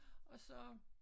Og så